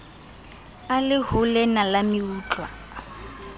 a le holena la meutlwa